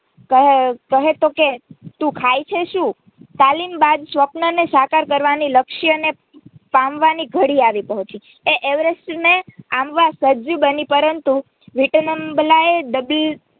કહે તો કે તું ખાયે છે શું તાલીમ બાદ સ્વપનને સાકાર કરવાની લક્ષ્યને પામવાની ઘડી આવી પહોચી એ એવેરેસ્ટ ને આંબવા સજ્જ બની પરંતુ વિટબણાઓ